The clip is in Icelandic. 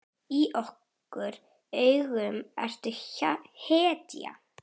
Í okkar augum ertu hetja.